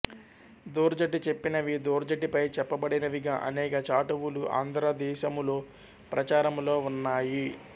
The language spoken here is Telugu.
ధూర్జటి చెప్పినవి ధూర్జటిపై చెప్పబడినవిగా అనేక చాటువులు ఆంధ్రదేశములో ప్రచారములో ఉన్నాయి